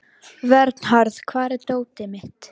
Vernharð, hvar er dótið mitt?